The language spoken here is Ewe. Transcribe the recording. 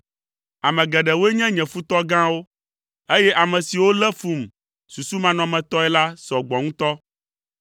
Ame geɖewoe nye nye futɔ gãwo, eye ame siwo lé fum susumanɔmetɔe la sɔ gbɔ ŋutɔ.